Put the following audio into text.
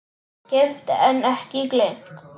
Geymt en ekki gleymt